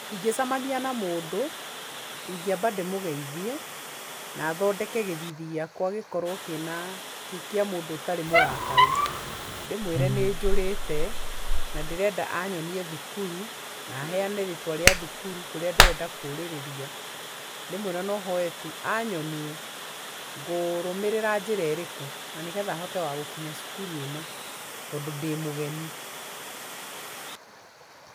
Ingĩcemania na mũndũ, ingĩamba ndĩmũgeithie, na thondeke gĩthithi gĩakwa gĩkorũo kĩ na, kĩ kĩa mũndũ ũtarĩ mũrakaru ndĩmwĩre nĩ njũrĩte ,na ndĩrenda anyonie thukuru, na heane rĩtwa rĩa thukuru kũrĩa ndĩrenda kũũrĩrĩria, ndĩmwĩre no hoe tu anyonie ngũrũmĩrĩra njĩra ĩrĩkũ na nĩ getha hote wa gũkinya cukuru ĩno tondũ ndĩ mũgeni.